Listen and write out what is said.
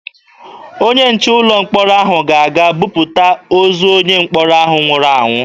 Onye nche ụlọ mkpọrọ ahụ ga-aga buputa ozu onye mkpọrọ ahụ nwụrụ anwụ.